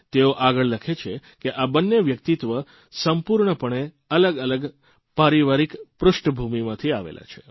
તેઓ આગળ લખે છે કે આ બંને વ્યક્તિત્વ સંપૂર્ણપણે અલગઅલગ પારિવારિક પૃષ્ઠ ભૂમિમાંથી આવેલા છે